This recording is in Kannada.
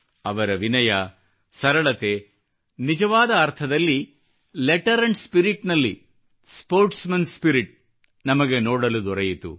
ಅವರ ವಿನಯ ಸರಳತೆ ನಿಜವಾದ ಅರ್ಥದಲ್ಲಿ ಲೆಟರ್ ಅಂಡ್ ಸ್ಪಿರಿಟ್ ನಲ್ಲಿ ಸ್ಪೋರ್ಟ್ಸ್ ಮನ್ ಸ್ಪಿರಿಟ್ ನಮಗೆ ನೋಡಲು ದೊರೆಯಿತು